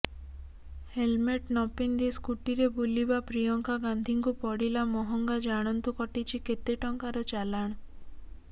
helmet ନପିନ୍ଧି ସ୍କୁଟିରେ ବୁଲିବା ପ୍ରିୟଙ୍କା ଗାନ୍ଧିଙ୍କୁ ପଡିଲା ମହଙ୍ଗା ଜାଣନ୍ତୁ କଟିଛି କେତେ ଟଙ୍କାର ଚାଲାଣ